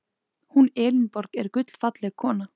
Hún Elínborg er gullfalleg kona.